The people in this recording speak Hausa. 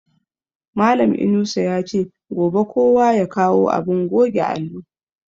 Malan Inusa yace gobe kowa ya kawo abin goge allo